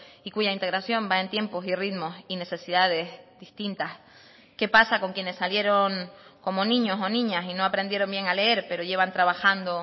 y cuya integración va en tiempos y ritmos y necesidades distintas qué pasa con quienes salieron como niños o niñas y no aprendieron bien a leer pero llevan trabajando